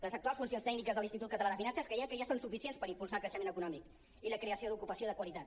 les actuals funcions tècniques de l’institut català de finances creiem que ja són suficients per impulsar el creixement econòmic i la creació d’ocupació de qualitat